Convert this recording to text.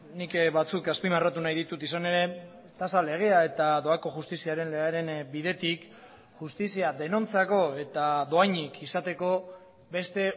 nik batzuk azpimarratu nahi ditut izan ere tasa legea eta doako justiziaren legearen bidetik justizia denontzako eta dohainik izateko beste